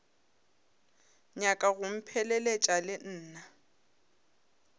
nyaka go mpheleletša le nna